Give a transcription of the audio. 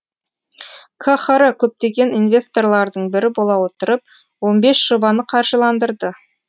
қхр көптеген инвесторлардың бірі бола отырып он бес жобаны қаржыландырды